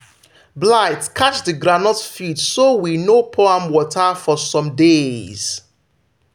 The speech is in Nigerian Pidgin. blight catch the groundnut field so we no pour am water for some days.